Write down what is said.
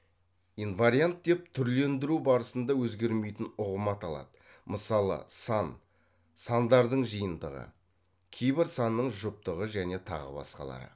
инвариант деп түрлендіру барысында өзгермейтін ұғым аталады мысалы сан сандардың жиынтығы кейбір санның жұптығы және тағы басқалары